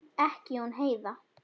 Ekki hún Heiða.